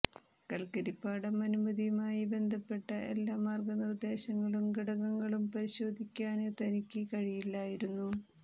കല്ക്കരിപ്പാടം അനുമതിയുമായി ബന്ധപ്പെട്ട എല്ലാ മാര്ഗനിര്ദ്ദേശങ്ങളും ഘടകങ്ങളും പരിശോധിയ്ക്കാന് തനിയ്ക്ക് കഴിയില്ലായിരുന്നു